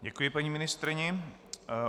Děkuji paní ministryni.